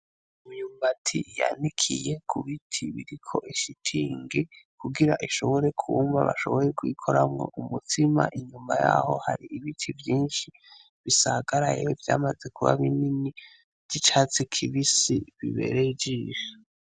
lmyumbati yandikiye kubiti biriko ishitingi kugira ishobore kumva bashoboye kwikoramwo umutsima inyuma yaho hari ibiti vyinshi bisagaraye vyamaze kuba binini vy'icatsi kibisi bibereye ijisho